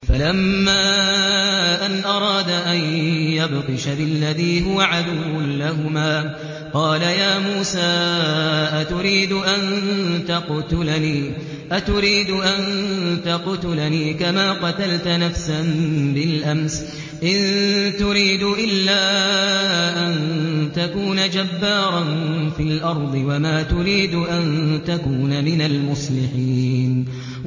فَلَمَّا أَنْ أَرَادَ أَن يَبْطِشَ بِالَّذِي هُوَ عَدُوٌّ لَّهُمَا قَالَ يَا مُوسَىٰ أَتُرِيدُ أَن تَقْتُلَنِي كَمَا قَتَلْتَ نَفْسًا بِالْأَمْسِ ۖ إِن تُرِيدُ إِلَّا أَن تَكُونَ جَبَّارًا فِي الْأَرْضِ وَمَا تُرِيدُ أَن تَكُونَ مِنَ الْمُصْلِحِينَ